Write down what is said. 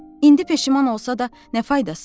İndi peşman olsa da nə faydası?